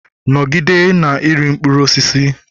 Nọgide na-eri mkpụrụ osisi!